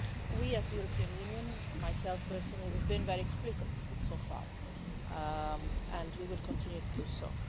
We, as the European Union and myself personally have been very explicit so far, and we will continue to do so.